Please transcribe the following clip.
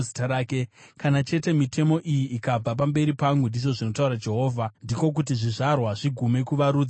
“Kana chete mitemo iyi ikabva pamberi pangu,” ndizvo zvinotaura Jehovha, “ndiko kuti zvizvarwa zvaIsraeri zvigume kuva rudzi pamberi pangu.”